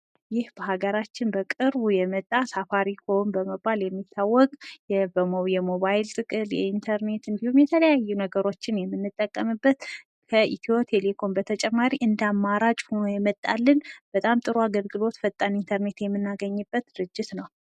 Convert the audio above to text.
ይህ በሃገራችን በቅርቡ የመጣ ሳፋሪኮም በመባል የሚታዎቅ፤ የሞባይል ጥቅል የኢንተርኔት እንዲሁም የተለያዩ ነገሮችን የምንጠቀምበት ፤ ከኢትዮ ቴሌኮም በተጨማሪ እንደ አማራጭ ሁኖ የመጣልን ፤ በጣም ጥሩ አገልግሎት ፣ፈጣን ኢንተርኔት የምናገኝበት ድርጅት ነዉ ።